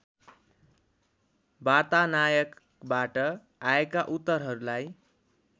वार्तानायकबाट आएका उत्तरहरूलाई